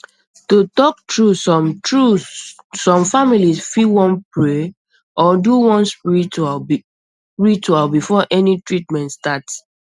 to talk true some true some families fit wan pray or do one ritual before any treatment start